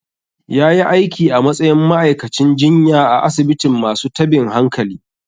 Ya yi aiki a matsayin ma'aikacin jinya a asibitin masu tabin hankali.